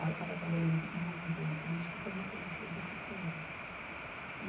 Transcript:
Estava trabalhando numa campanha política e prometeram um serviço para ele.